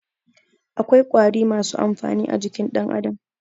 Akwai ƙwari masu amfani a jikin dan Adam.